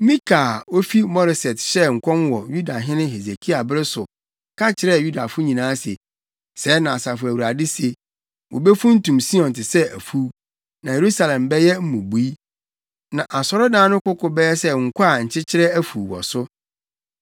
“Mika a ofi Moreset hyɛɛ nkɔm wɔ Yudahene Hesekia bere so ka kyerɛɛ Yudafo nyinaa se, ‘Sɛɛ na Asafo Awurade se: “ ‘Wobefuntum Sion te sɛ afuw. Na Yerusalem bɛyɛ mmubui na asɔredan no koko bɛyɛ sɛ nkɔ a nkyɛkyerɛ afuw wɔ so.’